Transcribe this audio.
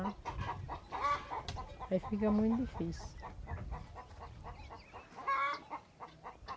Aí fica muito difícil.